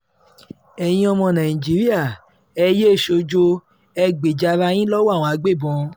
ẹ̀yin ọmọ nàìjíríà ẹ yéé sọ́jọ́ ẹ gbèjà ara yín lọ́wọ́ àwọn agbébọ̀n